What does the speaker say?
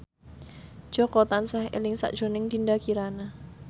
Jaka tansah eling sakjroning Dinda Kirana